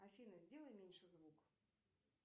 афина сделай меньше звук